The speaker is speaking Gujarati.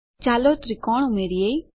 ચાલો ત્રિકોણ ઉમેરિયે